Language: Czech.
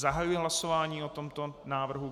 Zahajuji hlasování o tomto návrhu.